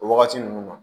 O wagati ninnu na